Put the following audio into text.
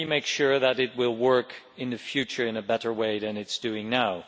Can we make sure that it will work in the future in a better way than it is doing now?